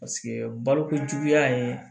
Paseke balokojuguya ye